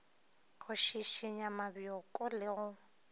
go šišinya mabjoko le go